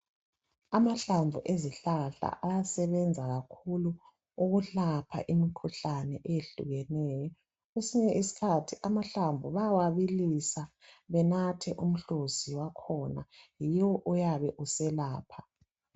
Amahlamvu ezihlahla ayasebenza kakhulu ukulapha imikhuhlane eyehlukeneyo kwesinye isikhathi amahlamvu bayawabilisa benathe umhluzi wakhona yiwo oyabe uselapha.